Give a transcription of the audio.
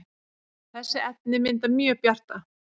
þessi efni mynda mjög bjarta